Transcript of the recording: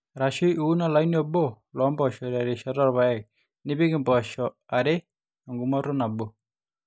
arashu iun olaini obo loo mpoosho terishata oorpaek nipik impoosho are eng'umoto nabo